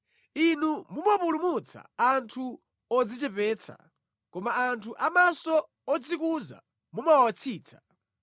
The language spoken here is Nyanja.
Inu mumapulumutsa anthu odzichepetsa, koma anthu amtima odzikuza mumawatsitsa.